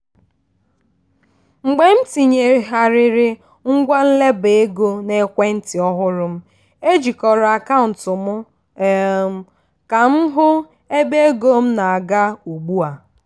mgbe m tinyegharịrị ngwa nleba ego n'ekwe ntị ọhụrụ m ejikọrọ akaụntụ m um ka m hụ ebe ego m na-aga ugbu a.